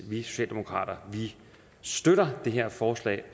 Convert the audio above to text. vi socialdemokrater støtter det her forslag